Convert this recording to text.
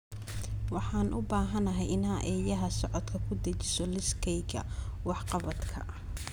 Waxaan u baahanahay inaad eeyaha socodka ku dhejiso liiskayga wax-qabadka